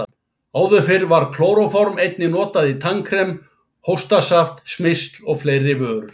Áður fyrr var klóróform einnig notað í tannkrem, hóstasaft, smyrsl og fleiri vörur.